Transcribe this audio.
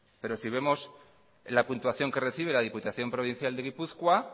pero si vemos la puntuación que recibe la diputación provincial de gipuzkoa